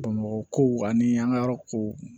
Bamakɔ ani an ka yɔrɔ kow